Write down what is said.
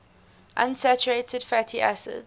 unsaturated fatty acids